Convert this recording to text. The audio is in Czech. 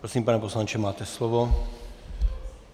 Prosím, pane poslanče, máte slovo.